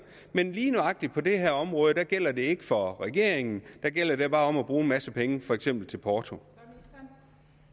men lige nøjagtig på det her område gælder det ikke for regeringen der gælder det bare om at bruge en masse penge for eksempel til porto